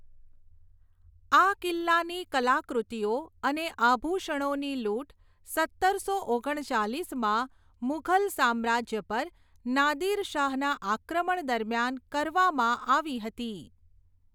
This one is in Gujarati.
આ કિલ્લાની કલાકૃતિઓ અને આભૂષણોની લૂંટ સત્તરસો ઓગણ ચાલીસમાં મુઘલ સામ્રાજ્ય પર નાદિર શાહના આક્રમણ દરમિયાન કરવામાં આવી હતી.